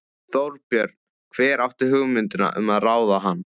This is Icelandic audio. Þorbjörn: Hver átti hugmyndina um að ráða hann?